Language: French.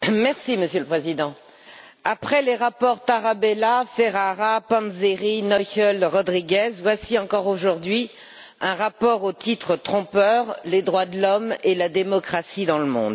Monsieur le Président, après les rapports Tarabella, Ferrara, Panzeri, Noichl, Rodrigues, voici encore aujourd'hui un rapport au titre trompeur les droits de l'homme et la démocratie dans le monde.